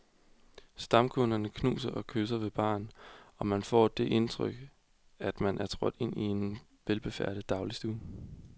Stamkunderne knuser og kysser ved baren, og man kan få det indtryk, at man er trådt ind i en velbefærdet dagligstue.